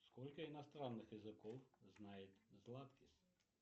сколько иностранных языков знает златкис